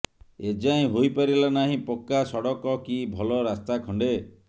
ଏ ଯାଏଁ ହୋଇପାରିଲା ନାହିଁ ପକ୍କା ସଡ଼କ କି ଭଲ ରାସ୍ତା ଖଣ୍ଡେ